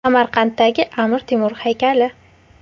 Samarqanddagi Amir Temur haykali.